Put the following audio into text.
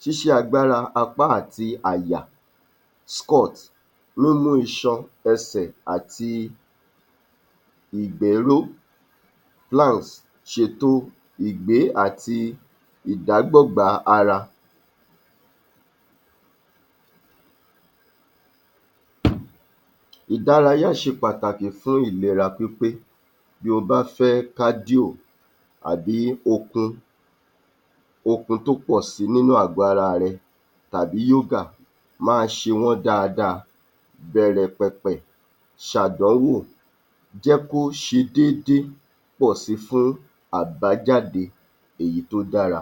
ṣíṣe agbára apá àti àyà. Squat: múmú iṣan ẹsẹ̀ àti ìgbé ró. ṣètò ìgbé àti ìdágbọ̀gbá ara. Ìdárayá ṣe Pàtàkì fún ìlera pípé. Bí o bá fẹ́ kádíò àbí okun tó pọ̀si nínú àgọ̀ ara rẹ, tàbí yógà, máa ṣe wọ́n dáadáa, bẹ̀rẹ̀ pẹ̀pẹ̀, sàdánwò, jẹ́ kó ṣe déédé pọ̀si fún àbájáde èyí tó dára.